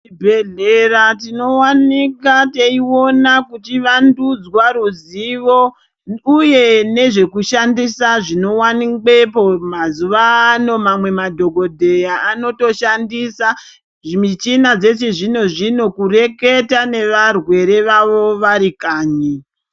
Zvibhedhlera tinowanika teiona kuchiwandudzwa ruzivo uye nezvekushandisa zvinowanikwepo mazuwa ano mamweni madhokodheya anotoshandisa zvimichina zvechizvino-zvino kureketa nevarwere vavo vari kanyi.